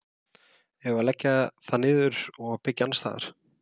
Eigum við að leggja það niður og byggja annars staðar?